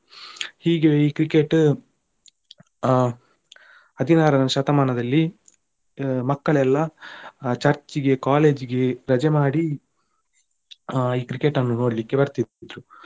ಹೀಗೆ ಈ Cricket ಆ ಹದಿನಾರನೇ ಶತಮಾನದಲ್ಲಿ ಮಕ್ಕಳೆಲ್ಲ Church ಗೆ college ಗೆ ರಜೆ ಮಾಡಿ ಆ ಈ Cricket ಅನ್ನು ನೋಡ್ಲಿಕ್ಕೆ ಬರ್ತಿದ್ರು,